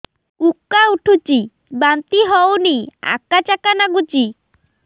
ଉକା ଉଠୁଚି ବାନ୍ତି ହଉନି ଆକାଚାକା ନାଗୁଚି